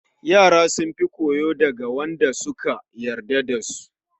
Yara sun fi koyo daga Wanda da suka yarda da su